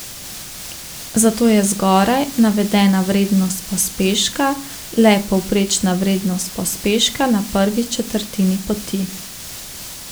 Zato je zgoraj navedena vrednost pospeška le povprečna vrednost pospeška na prvi četrtini poti.